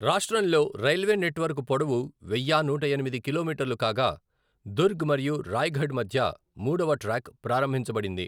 రాష్ట్రంలో railway network పొడవు వెయ్యా నూట ఎనిమిది కిలోమీటర్లు కాగా, దుర్గ్ మరియు రాయ్గఢ్ మధ్య మూడవ ట్రాక్ ప్రారంభించబడింది.